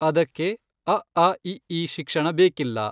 ಅದಕ್ಕೆ ಅಆಇಈ ಶಿಕ್ಷಣ ಬೇಕಿಲ್ಲ.